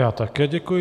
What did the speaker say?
Já také děkuji.